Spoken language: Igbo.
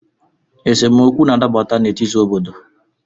Esemokwu na-adaputa n’etiti obodo